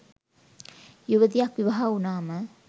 යුවතියක් විවාහ වුණාම